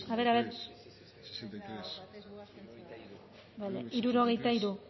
bozketaren emaitza onako izan da hirurogeita hamalau